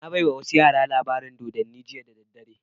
Na baiwa wasu yara labarin dodanni jiya da daddare